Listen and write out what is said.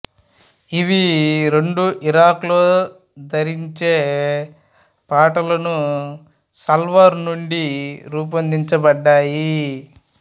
ఇవి రెండూ ఇరాక్లో ధరించే పాంటలూన్ సల్వార్ నుండి రూపొందించబడ్డాయి